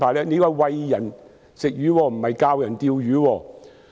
這是"餵人吃魚"而不是"教人釣魚"。